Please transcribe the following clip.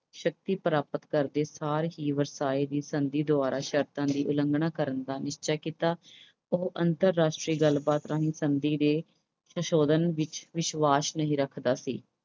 ਸ਼ਕਤੀ ਪ੍ਰਾਪਤ ਕਰਦੇ ਸਾਰ ਹੀ ਵਰਸਾਏ ਦੀ ਸੰਧੀ ਦੁਆਰਾ ਸ਼ਰਤਾਂ ਦੀ ਉਲੰਘਣਾ ਕਰਨ ਦਾ ਨਿਸ਼ਚਾ ਕੀਤਾ। ਉਹ ਅੰਤਰ-ਰਾਸ਼ਟਰੀ ਗੱਲਬਾਤ ਰਾਹੀਂ ਸੰਧੀ ਦੇ ਸੰਸ਼ੋਧਨ ਵਿੱਚ ਵਿਸ਼ਵਾਸ ਨਹੀਂ ਰੱਖਦਾ ਸੀ।